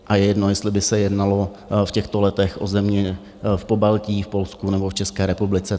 A je jedno, jestli by se jednalo v těchto letech o země v Pobaltí, v Polsku nebo v České republice.